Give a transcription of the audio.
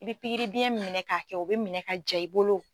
I bi pikiribiyɛn minɛ k'a kɛ o bɛ minɛ ka ja i bolo.